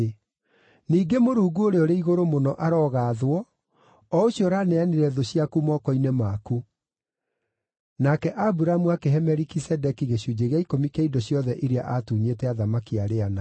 Ningĩ Mũrungu Ũrĩa-ũrĩ-Igũrũ-Mũno arogaathwo, o ũcio ũraneanire thũ ciaku moko-inĩ maku.” Nake Aburamu akĩhe Melikisedeki gĩcunjĩ gĩa ikũmi kĩa indo ciothe iria aatunyĩte athamaki arĩa ana.